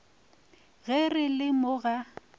ge re le mo ga